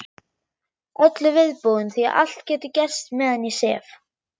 Öllu viðbúin því allt getur gerst meðan ég sef.